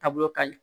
Taabolo ka ɲi